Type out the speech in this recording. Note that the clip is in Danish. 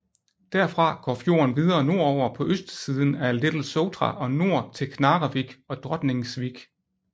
Derfra går fjorden videre nordover på østsiden af Litlesotra og nord til Knarrevik og Drotningsvik